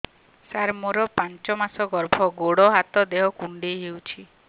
ସାର ମୋର ପାଞ୍ଚ ମାସ ଗର୍ଭ ଗୋଡ ହାତ ଦେହ କୁଣ୍ଡେଇ ହେଉଛି